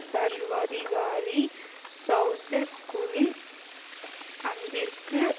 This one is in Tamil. சர்வாதிகாரி செளசெஸ்குவின் அன்பிற்கு